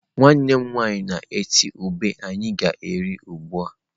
Nwanne m nwaanyị na-eti ube anyi ga eri ugbua.